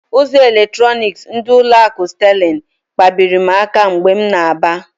Ụzọ eletronik ndị ụlọ akụ Sterling kpabiri m aka mgbe m na-aba.